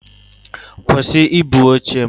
Kwụsị ibu oche m!